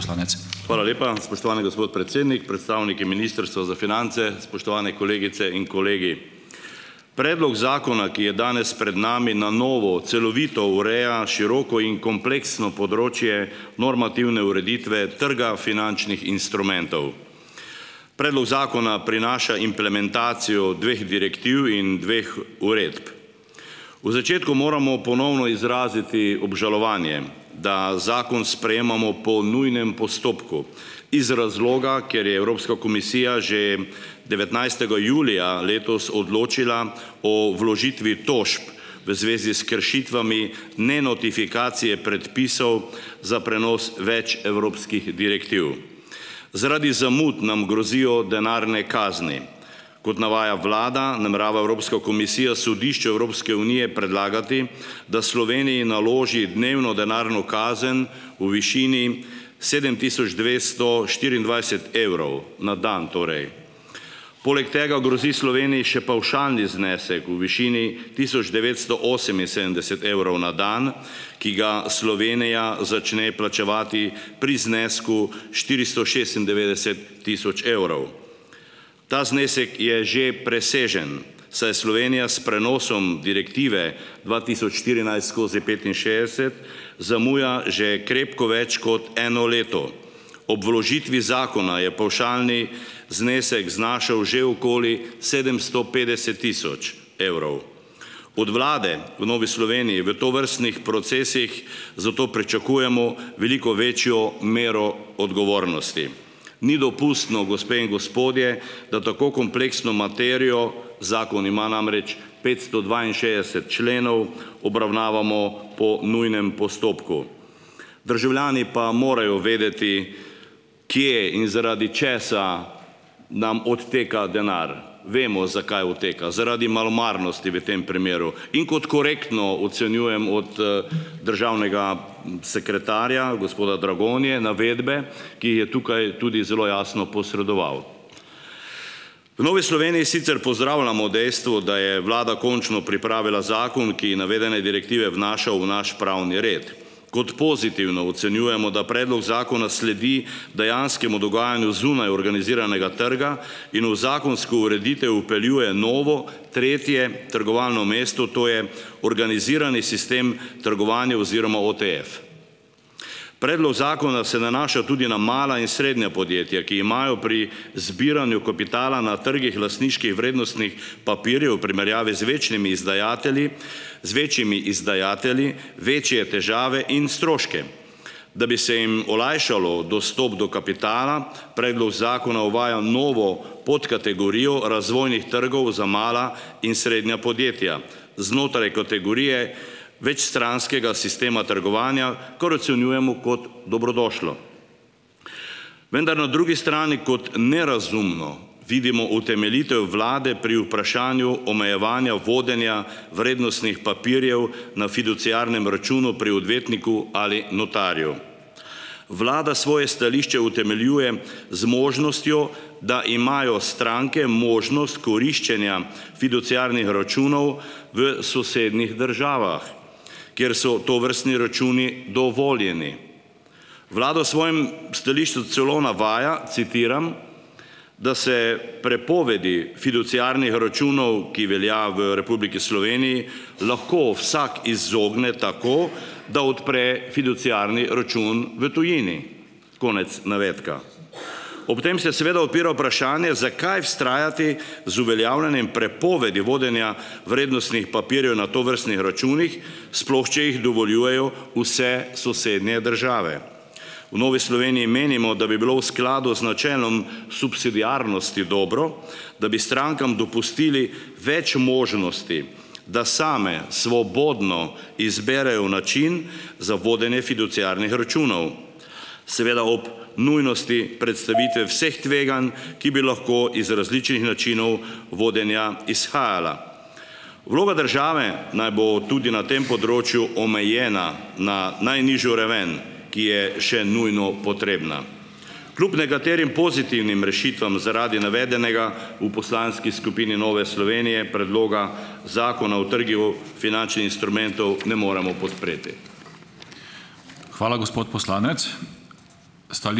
Hvala lepa, spoštovani gospod predsednik. Predstavniki ministrstva za finance, spoštovane kolegice in kolegi! Predlog zakona, ki je danes pred nami, na novo celovito ureja široko in kompleksno področje normativne ureditve trga finančnih instrumentov. Predlog zakona prinaša implementacijo dveh direktiv in dveh uredb. V začetku moramo ponovno izraziti obžalovanje, da zakon sprejemamo po nujnem postopku iz razloga, ker je Evropska komisija že devetnajstega julija letos odločila o vložitvi tožb v zvezi s kršitvami nenotifikacije predpisov za prenos več evropskih direktiv. Zaradi zamud nam grozijo denarne kazni. Kot navaja Vlada, namerava Evropska komisija Sodišče Evropske unije predlagati, da Sloveniji naloži dnevno denarno kazen v višini sedem tisoč dvesto štiriindvajset evrov na dan, torej. Poleg tega grozi Sloveniji še pavšalni znesek v višini tisoč devetsto oseminsedemdeset evrov na dan, ki ga Slovenija začne plačevati pri znesku štiristo šestindevetdeset tisoč evrov. Ta znesek je že presežen, saj Slovenija s prenosom direktive dva tisoč štirinajst skozi petinšestdeset zamuja že krepko več kot eno leto. Ob vložitvi zakona je pavšalni znesek znašal že okoli sedemsto petdeset tisoč evrov. Od Vlade v Novi Sloveniji v tovrstnih procesih zato pričakujemo veliko večjo mero odgovornosti. Ni dopustno, gospe in gospodje, da tako kompleksno materijo, zakon ima namreč petsto dvainšestdeset členov, obravnavamo po nujnem postopku. Državljani pa morajo vedeti, kje in zaradi česa nam odteka denar. Vemo, zakaj oteka. Zaradi malomarnosti v tem primeru. In kot korektno ocenjujem od državnega sekretarja, gospoda Dragonje, navedbe, ki jih je tukaj tudi zelo jasno posredoval. V Novi Sloveniji sicer pozdravljamo dejstvo, da je Vlada končno pripravila zakon, ki navedene direktive vnaša v naš pravni red. Kot pozitivno ocenjujemo, da predlog zakona sledi dejanskemu dogajanju zunaj organiziranega trga in v zakonsko ureditev vpeljuje novo, tretje trgovalno mesto, to je organizirani sistem trgovanja oziroma OTEEF. Predlog zakona se nanaša tudi na mala in srednja podjetja, ki imajo pri zbiranju kapitala na trgih lastniških vrednostnih papirjev v primerjavi z večnimi izdajatelji z večjimi izdajatelji večje težave in stroške. Da bi se jim olajšalo dostop do kapitala, predlog zakona uvaja novo podkategorijo razvojnih trgov za mala in srednja podjetja znotraj kategorije večstranskega sistema trgovanja, kar ocenjujemo kot dobrodošlo. Vendar na drugi strani kot nerazumno vidimo utemeljitev Vlade pri vprašanju omejevanja vodenja vrednostnih papirjev na fiduciarnem računu pri odvetniku ali notarju. Vlada svoje stališče utemeljuje z možnostjo, da imajo stranke možnost koriščenja fiduciarnih računov v sosednjih državah, kjer so tovrstni računi dovoljeni. Vlada v svojem stališču celo navaja, citiram: "da se prepovedi fiduciarnih računov, ki velja v Republiki Sloveniji, lahko vsak izogne tako, da odpre fiduciarni račun v tujini", konec navedka. Ob tem se seveda odpira vprašanje, zakaj vztrajati z uveljavljanjem prepovedi vodenja vrednostnih papirjev na tovrstnih računih, sploh če jih dovoljujejo vse sosednje države. V Novi Sloveniji menimo, da bi bilo v skladu z načelom subsidiarnosti dobro, da bi strankam dopustili več možnosti, da same svobodno izberejo način za vodenje fiduciarnih računov, seveda ob nujnosti predstavitve vseh tveganj, ki bi lahko iz različnih načinov vodenja izhajala. Vloga države naj bo tudi na tem področju omejena na najnižjo raven, ki je še nujno potrebna. Kljub nekaterim pozitivnim rešitvam zaradi navedenega v poslanski skupini Nove Slovenije predloga zakona o trgih o finančnih instrumentov ne moremo podpreti.